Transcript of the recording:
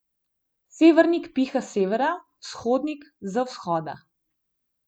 Severnik piha s severa, vzhodnik z vzhoda ...